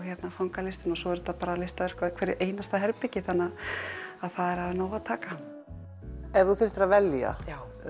ganga listina svo eru listaverk í hverju einasta herbergi þannig að það er af nógu að taka ef þú þyrftir að velja